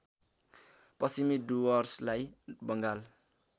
पश्चिमी डुवर्सलाई बङ्गाल